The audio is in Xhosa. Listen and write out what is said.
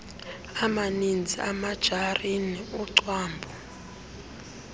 amanizi imajarini ucwambu